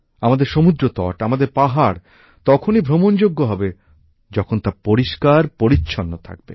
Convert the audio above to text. আমাদের সমুদ্রতট আমাদের পাহাড় তখনই ভ্রমণ যোগ্য হবে যখন তা পরিষ্কার পরিচ্ছন্ন থাকবে